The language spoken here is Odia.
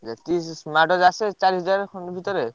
ଯେତିକି smart watch ଆସିବ ସେଇ ଚାରି ହଜାର ଭିତରେ।